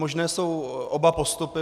Možné jsou oba postupy.